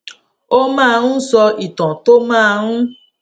ó máa ń sọ ìtàn tó máa ń